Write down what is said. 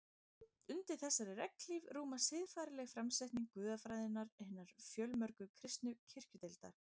Undir þessari regnhlíf rúmast siðfræðileg framsetning guðfræðinga hinna fjölmörgu kristnu kirkjudeilda.